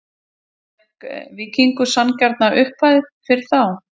Fékk Víkingur sanngjarna upphæð fyrir þá?